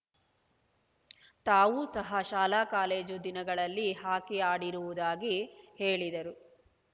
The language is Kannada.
ತಾವು ಸಹ ಶಾಲಾ ಕಾಲೇಜು ದಿನಗಳಲ್ಲಿ ಹಾಕಿ ಆಡಿರುವುದಾಗಿ ಹೇಳಿದರು